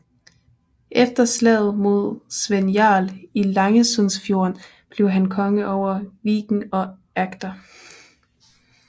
Efter slaget mod Svend Jarl i Langesundfjorden blev han konge over Viken og Agder